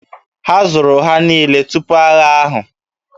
A zụrụ ha niile tupu agha ahụ